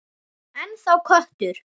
Ennþá köttur.